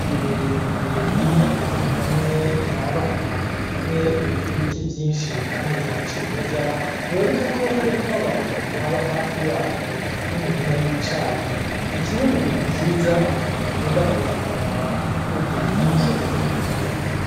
Iyi miremire iri ahantu hamwe irabana, umwe uriko ibiti vyinshi kandi vya cimeza, biboneka ko hariho n'abantu baba hafi yaho n'imirima y'icayi, ni kimwe mu bintu vyiza abantu bakunda kuza kuraba mu bihugu vy'imisozi miremire.